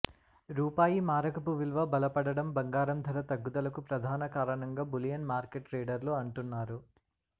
రూపాయి మారకపు విలువ బలపడడం బంగారం ధర తగ్గుదలకు ప్రధాన కారణంగా బులియన్ మార్కెట్ ట్రేడర్లు అంటున్నారు